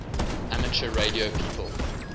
amateur radio people